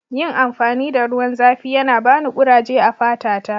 Yin amfani da ruwan zafi yana bani kuraje a'fata ta.